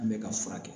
An bɛ ka fura kɛ